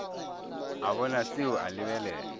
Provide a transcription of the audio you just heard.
a bona seo a lebelela